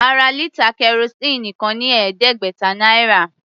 A ra lítà kẹrosíìnì kan ní ẹ̀ẹ́dẹ́gbẹ̀ta náírà.